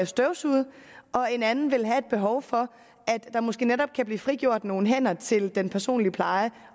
støvsuget og en anden vil have et behov for at der måske netop kan blive frigjort nogle hænder til den personlige pleje